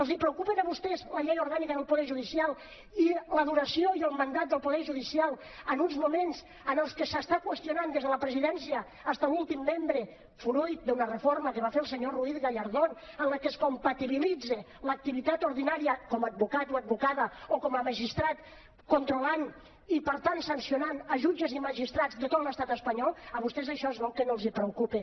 els preocupa a vostès la llei orgànica del poder judicial i la duració i el mandat del poder judicial en uns moments en els que s’està qüestionant des de la presidència fins a l’últim membre fruit d’una reforma que va fer el senyor ruiz gallardón en la que es compatibilitza l’activitat ordinària com a advocat o advocada o com a magistrat controlant i per tant sancionant jutges i magistrats de tot l’estat espanyol a vostès això es veu que no els preocupa